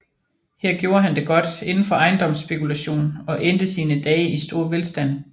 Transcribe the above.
Her gjorde han det godt inden for ejendomsspekulation og endte sine dage i stor velstand